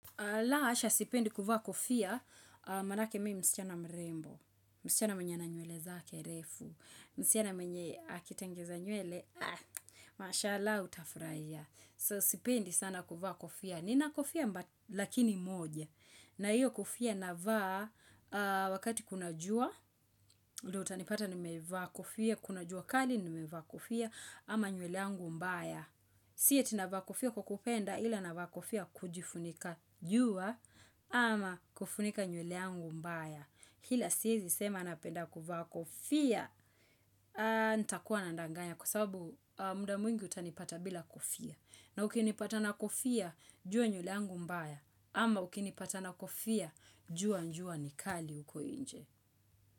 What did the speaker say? Laa hasha sipendi kuvaa kofia, manake mimi msichana mrembo, msichana mwenye ana nywele zake refu, msichana mwenye akitengeza nywele, ah, mashallah utafurahia. Soo sipendi sana kuvaa kofia, nina kofia mba lakini moja, na hiyo kofia navaa wakati kuna jua, ndio utanipata nimevaa kofia, kuna jua kali nimevaa kofia, ama nywele yangu mbaya. Si ati navaa kofia kwa kupenda ila navaa kofia kujifunika jua ama kufunika nywele yangu mbaya. Ila siwezi sema napenda kuvaa kofia nitakuwa nadanganya kwa sababu muda mwingi utanipata bila kofia. Na ukinipata na kofia jua nywele yangu mbaya ama ukinipata na kofia jua jua nikali huko nje.